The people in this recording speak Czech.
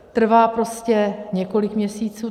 Trvá prostě několik měsíců.